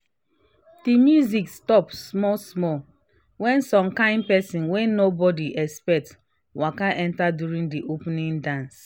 di music stop small-small when some kain people wey nobody expect waka enter during di opening dance.